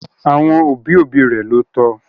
Àwọn òbí òbí rẹ̀ ló tọ